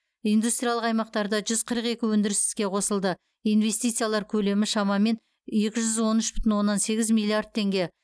индустриялық аймақтарда жүз қырық екі өндіріс іске қосылды инвестициялар көлемі шамамен екі жүз он үш бүтін оннан сегіз миллиард теңге